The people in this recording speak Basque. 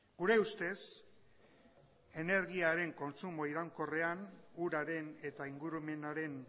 gure ustez energiaren kontsumo iraunkorrean uraren eta ingurumenaren